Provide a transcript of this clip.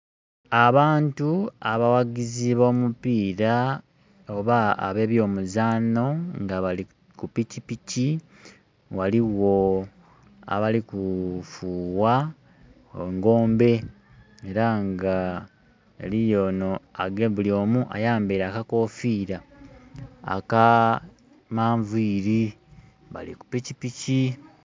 Abantu abawagizi b'omupira oba ab'ebyomuzanho nga bali ku pikipiki, ghaligho abali kufuuwa engombe era nga buli omu ayambeire akakofira akamanviri bali ku pikipiki.